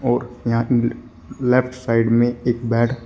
और यहां ले लेफ्ट साइड में एक बेड --